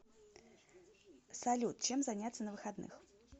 салют чем заняться на выходных